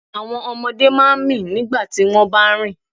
Àwọn ọmọdé máa ń mì nígbà tí wọ́n bá ń rìn.